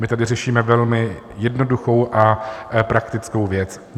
My tady řešíme velmi jednoduchou a praktickou věc.